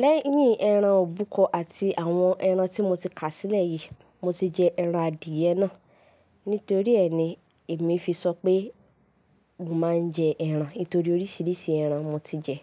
Lẹ́yìn ẹran òbúkọ àti àwọn ẹran tí mo ti kà sílẹ̀ yìí, mo ti jẹ ẹran adìyẹ náà. Nítorí ẹ́ ni èmi fi sọ pé mo máa ń jẹ ẹran. Nítorí oríṣiríṣi ẹran mo ti jẹ.